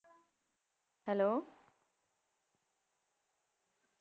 Hello